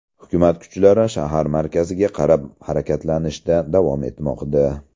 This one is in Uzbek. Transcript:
Hukumat kuchlari shahar markazidaga qarab harakatlanishda davom etmoqda.